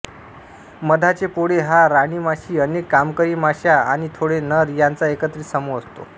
मधाचे पोळे हा राणीमाशी अनेक कामकरी माश्या आणि थोडे नर यांचा एकत्रित समूह असतो